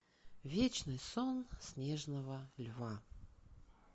вечный сон снежного льва